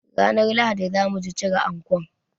Ranar Lahadi zamuji cire ankon